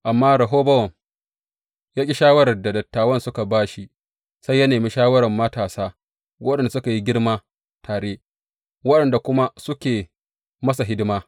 Amma Rehobowam ya ƙi shawarar da dattawan suka ba shi, sai ya nemi shawarar matasa waɗanda suka yi girma tare, waɗanda kuma suke masa hidima.